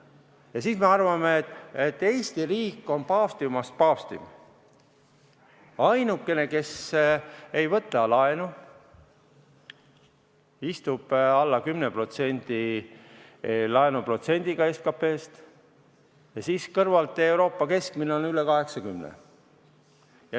Ja siis me arvame, et Eesti riik on paavstimast paavstim, ainukene, kes ei võta laenu, istub laenuprotsendiga alla 10% SKP-st, kui kõrval Euroopa keskmine on üle 80%.